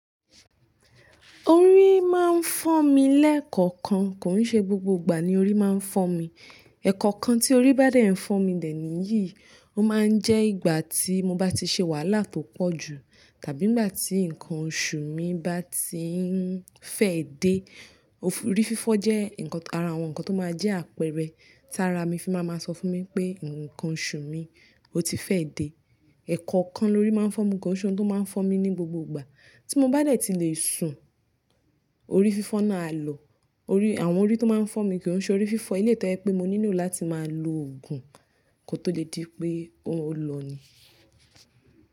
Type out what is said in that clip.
Orí máa ń fọ́ mi lẹ́ẹ̀kọ̀ọ̀kan, kò n ṣe gbogbo ìgbà ni orí máa ń fọ́ mi. Ẹ̀kọ̀ọ̀kan tí orí bá dẹ̀ ń fọ́ mi dẹ níyìí, ó máa ń jẹ́ ìgbà tí mo bá ti ṣe wàhálà tó pọ̀ jù tàbí nígbà tí nǹkan oṣù mi bá ti ń fẹ́ dé. Ori fífọ jẹ ara àwọn nkan to ma jẹ àpẹrẹ, tara mi fi máa ma sọ fun mi pé nkan oṣù mi, o ti fẹ de. Ẹ̀kọ̀ọ̀kan lórí máa ń fọ́ mi, ko n ṣohun tó máa ń fọ́ mi ní gbogbo ìgbà tí mo bá dẹ̀ ti lè sùn, orí fífọ́ náà á lọ. Orí, àwọn orí tó máa ń fọ́ mi kì í ṣe orí fífọ́. Eléyìí tò ẹ pé mo nílò láti máa lo òògùn kó tó lè di pé ó lọ ni.